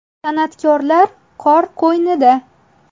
San’atkorlar qor qo‘ynida .